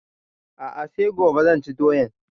A'a sai gobe zan ci doyan